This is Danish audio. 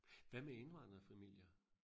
Hvad med indvandrefamilier?